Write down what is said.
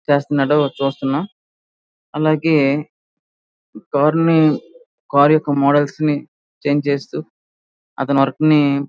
చేస్తున్నాడు చూస్తున్నాం అలాగే ఈ కార్ కార్ల యొక్క మోడల్స్ నీ చేంజ్ చేస్తూ అతను వర్క్ ని --